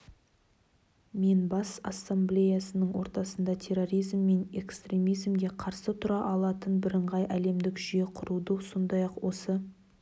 мен бас ассамблеясының отырысында терроризм мен экстремизмге қарсы тұра алатын бірыңғай әлемдік жүйе құруды сондай-ақ осы